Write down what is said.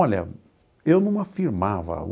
Olha, eu não afirmava.